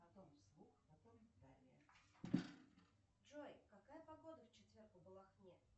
джой какая погода в четверг в балахне